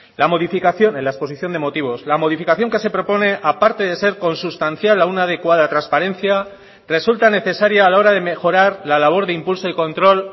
la modificación en la exposición de motivos la modificación que se propone aparte de ser consustancial a una adecuada transparencia resulta necesaria a la hora de mejorar la labor de impulso y control